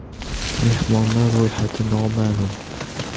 Mehmonlar ro‘yxati noma’lum.